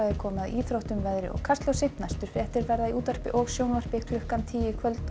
komið að íþróttum veðri og Kastljósi næstu fréttir verða í útvarpi og sjónvarpi klukkan tíu í kvöld og